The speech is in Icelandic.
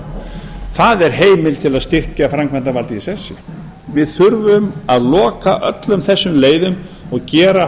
á það er heimild til að styrkja framkvæmdarvaldið í sessi við þurfum að loka öllum þessum leiðum og gera